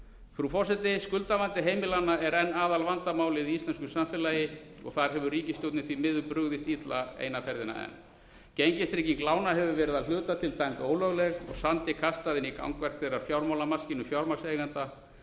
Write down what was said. frú forseti skuldavandi heimilanna er enn aðalvandamálið í íslensku samfélagi og þar hefur ríkisstjórnin því miður brugðist illa eina ferðina enn gengistrygging lána hefur verið að hluta til dæmd ólögleg og samdi af henni gagnvart fjármálamarki fjármagnseigenda